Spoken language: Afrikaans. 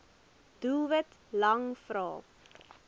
doelwit lang vrae